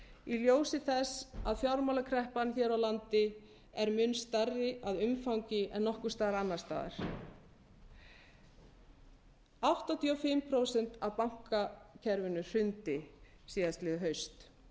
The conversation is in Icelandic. í ljósi þess að fjármálakreppan hér á landi er mun stærri að umfangi en nokkurs staðar annars staðar áttatíu og fimm prósent af bankakerfinu hrundi síðastliðið haust